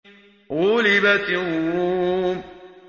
غُلِبَتِ الرُّومُ